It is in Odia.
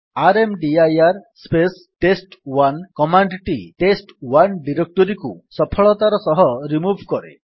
ର୍ମଦିର ସ୍ପେସ୍ ଟେଷ୍ଟ1 କମାଣ୍ଡ୍ ଟି ଟେଷ୍ଟ1 ଡିରେକ୍ଟୋରୀକୁ ସଫଳତାର ସହିତ ରିମୁଭ୍ କରେ